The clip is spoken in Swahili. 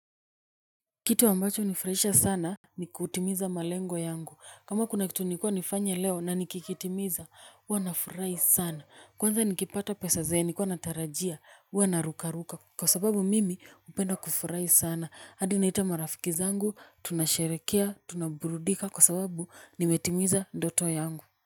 Kitu ambacho hunifraisha sana ni kutimiza malengo yangu. Kama kuna kitu nilikuwa nifanye leo na nikikitimiza, huwa nafurai sana. Kwanza nikipata pesa ze nlikuwa natarajia, ua narukaruka. Kwa sababu mimi upenda kufurai sana. Hadi naita marafiki zangu, tunasherekea, tunaburudika. Kwa sababu nimetimiza ndoto yangu.